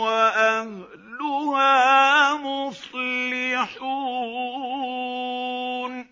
وَأَهْلُهَا مُصْلِحُونَ